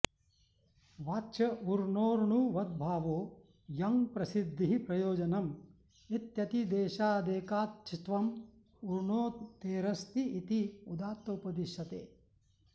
वाच्य ऊर्णोर्णुवद्भावो यङ्प्रसिद्धिः प्रयोजनम् इत्यतिदेशादेकाच्त्वम् ऊर्णोतेरस्ति इति उदात्त उपदिश्यते